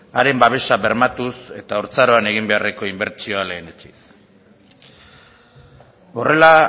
haren babesa bermatuz eta haurtzaroan egin beharreko inbertsioa lehenetsiz horrela